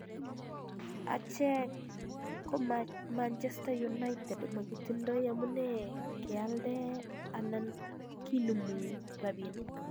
Achek ko Manchester United, makitindoi amune kealde anan kinumu rabining.